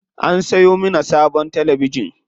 An siyo mana sabon talabijin.